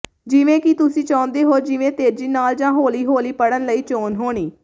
ਜਿਵੇਂ ਕਿ ਤੁਸੀਂ ਚਾਹੁੰਦੇ ਹੋ ਜਿਵੇਂ ਤੇਜ਼ੀ ਨਾਲ ਜਾਂ ਹੌਲੀ ਹੌਲੀ ਪੜ੍ਹਨ ਲਈ ਚੋਣ ਹੋਣੀ